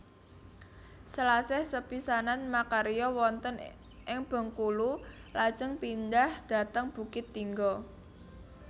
Selasih sepisanan makarya wonten ing Bengkulu lajeng pindhah dhateng Bukittinggo